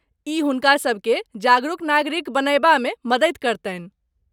ई हुनकासब के जागरूक नागरिक बनयबामे मददि करतनि।